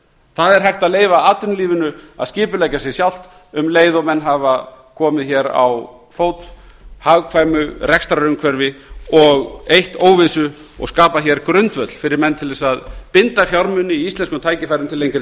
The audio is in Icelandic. það er hægt að leyfa atvinnulífinu að skipuleggja sig sjálft um leið og menn hafa komið hér á fót hagkvæmu rekstrarumhverfi og eytt óvissu og skapað hér grundvöll fyrir menn til að binda fjármuni í íslenskum tækifærum til lengri